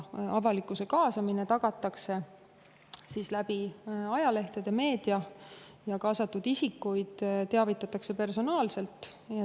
Avalikkuse kaasamine tagatakse ajalehtede ja meedia kaudu ja kaasatud isikuid teavitatakse personaalselt.